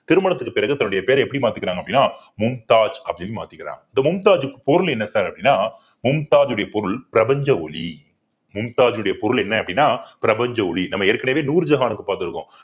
திருமணத்திற்கு பிறகு தன்னுடைய பேரை எப்படி மாத்திக்கிறாங்க அப்படின்னா மும்தாஜ் அப்படின்னு மாத்திக்கிறாங்க இந்த மும்தாஜ்க்கு பொருள் என்ன sir அப்படின்னா மும்தாஜுடைய பொருள் பிரபஞ்ச ஒளி மும்தாஜுடைய பொருள் என்ன அப்படின்னா பிரபஞ்ச ஒளி நம்ம ஏற்கனவே நூர்ஜஹானுக்கு பார்த்திருக்கோம்